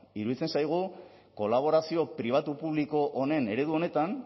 iruditzen zaigu kolaborazio pribatu publiko honen eredu honetan